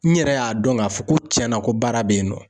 N yɛrɛ y'a dɔn k'a fɔ ko cɛn na ko baara be yen nɔ.